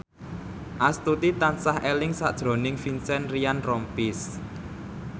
Astuti tansah eling sakjroning Vincent Ryan Rompies